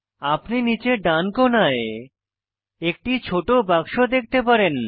আপনি নীচে ডান কোণায় একটি ছোট বাক্স দেখতে পারেন